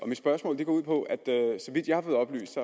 mit spørgsmål går ud på at der så vidt jeg har fået oplyst